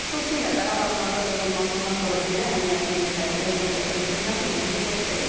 Xüsusilə Qarabağın azad olunmasından sonra belə əhəmiyyətli bir tədbirin burda keçirilməsi bizi çox sevindirdi.